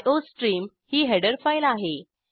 iostream ही header file आहे